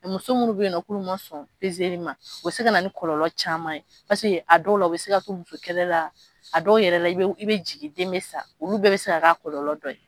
Muso minnu bɛ yen k'olu ma sɔn ma o se ka na ni kɔlɔlɔ caman ye a dɔw la u bɛ se ka to musokɛlɛ la a dɔw yɛrɛ la i i bɛ jigin den bɛ sa olu bɛɛ bɛ se ka k'a kɔlɔlɔ dɔ ye